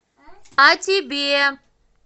о тебе